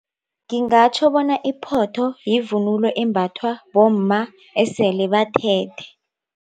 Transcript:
Ngingatjho bona iphotho yivunulo embathwa bomma eselebathethe.